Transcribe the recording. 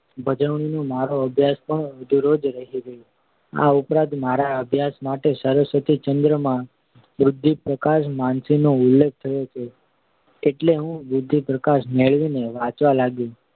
ભજવણીનો મારો અભ્યાસ પણ અધૂરો જ રહી ગયો. આ ઉપરાંત મારા અભ્યાસ માટે સરસ્વતીચંદ્ર માં બુદ્ધિપ્રકાશ માસિકનો ઉલ્લેખ થયો છે એટલે હું બુદ્ધિપ્રકાશ મેળવીને વાંચવા લાગ્યો.